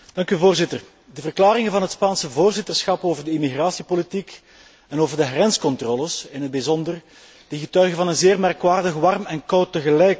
De verklaringen van het Spaanse voorzitterschap over het immigratiebeleid, en over de grenscontroles in het bijzonder, getuigen van een zeer merkwaardig warm en koud tegelijk blazen.